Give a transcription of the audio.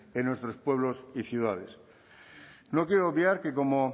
en nuestros pueblos y ciudades no quiero obviar que como